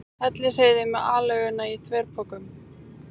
Hellisheiði með aleiguna í þverpokum.